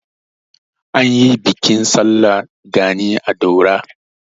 An yi bikin sallar gani a Dauda.